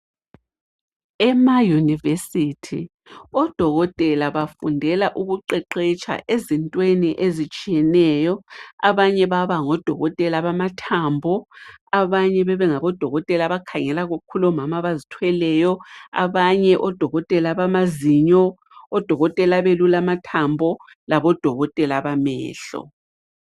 Emayunivesithi odokotela bafundela ukuqeqetsha entweni ezitshiyeneyo . Abanye baba ngodokotela bamathambo, abanye bebe ngabodokotela abakhangela kakhulu omama abazithweleyo, abanye odokotela bamazinyo, odokotela abelula amathambo labodokotela bamehlo.